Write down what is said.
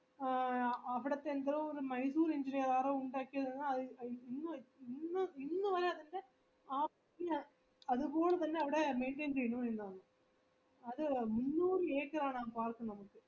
ആ അവിടെ തന്നെ ഒരു engineer ആരോ ഉണ്ടാക്കിയതാണ് അ അത് ഇ ഇന്ന് ഇന്നുവരെ അതിന്റെ അത്പോലെ തന്നെ അവിടെ maintain ചെയ്യുന്നു എന്നാണ് അത് മുന്നൂറ് പാലത്തിന്റെ നമുക്ക്